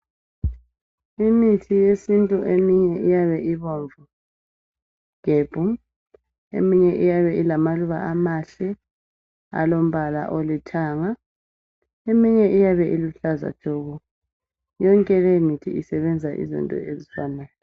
Imithi yesintu eminengi iyabe ibomvu gebhu, eminye iyabe ilamaluba amahle alombala olithanga. Eminye iyabe iluhlaza tshoko. Yonke leyo mithi isebenza izinto ezifanayo.